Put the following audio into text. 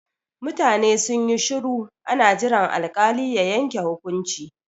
Mutane sun yi shuru ana jiran alkali ya yanke hukunci.